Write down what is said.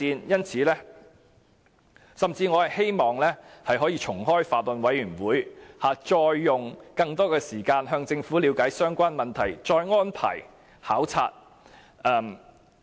我甚至希望可以重開法案委員會，再用更多時間向政府了解相關問題，再安排考察。